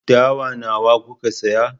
Dawa nawa kuka saya?